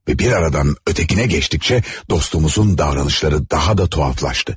Və bir aradan ötekine keçdikcə dostumuzun davranışları daha da tuhaflaşdı.